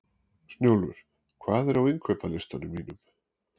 Snjólfur, hvað er á innkaupalistanum mínum?